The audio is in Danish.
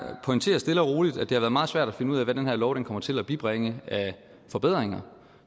pointerer stille og roligt at det har været meget svært at finde ud af hvad den her lov kommer til at bibringe af forbedringer